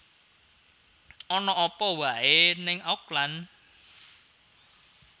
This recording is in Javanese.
Ana apa wae ning Auckland